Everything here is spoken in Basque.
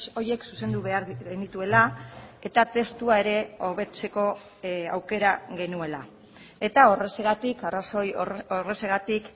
horiek zuzendu behar genituela eta testua ere hobetzeko aukera genuela eta horrexegatik arrazoi horrexegatik